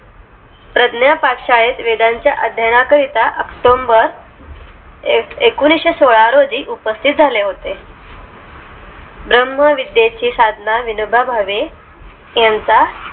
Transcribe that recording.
प्रज्ञा पाठशाळेत वेदांच्या अध्यानाकरिता october एकोणीशे सोळा रोजी उपस्तित झाले होते भ्रमविद्येची साधना विनोबा भावे यांचा